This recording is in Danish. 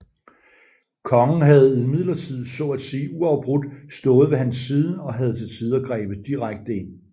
Kongen havde imidlertid så at sige uafbrudt stået ved hans side og havde til tider grebet direkte ind